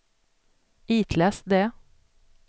itläs det